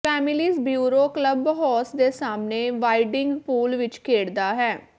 families bureau clubhouse ਦੇ ਸਾਹਮਣੇ wading pool ਵਿਚ ਖੇਡਦਾ ਹੈ